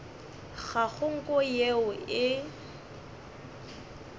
ga go nko yeo e